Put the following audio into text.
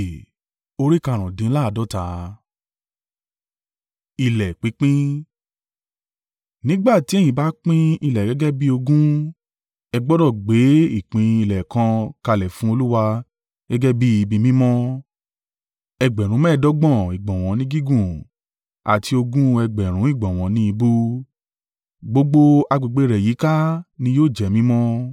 “ ‘Nígbà ti ẹ̀yin bá pín ilẹ̀ gẹ́gẹ́ bí ogún, ẹ gbọdọ̀ gbé ìpín ilẹ̀ kan kalẹ̀ fún Olúwa gẹ́gẹ́ bí ibi mímọ́, ẹgbẹ̀rún mẹ́ẹ̀ẹ́dọ́gbọ̀n (25,000) ìgbọ̀nwọ́ ni gígùn àti ogún ẹgbẹ̀rún (20,000) ìgbọ̀nwọ́ ni ìbú; gbogbo agbègbè rẹ̀ yíká ni yóò jẹ́ mímọ́.